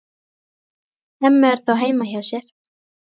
Hemmi er þó heima hjá sér.